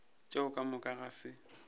tšeo ka moka ga se